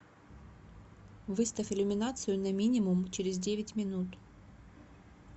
выставь иллюминацию на минимум через девять минут